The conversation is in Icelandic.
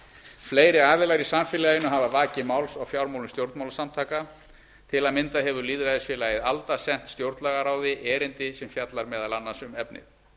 fleiri aðilar í samfélaginu hafa vakið máls á fjármálum stjórnmálasamtaka til að mynda hefur lýðræðisfélagið alda sent stjórnlagaráði erindi sem fjallar meðal annars um efnið